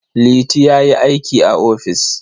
Liti ya yi aiki a ofis.